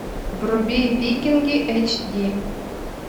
вруби викинги эйч ди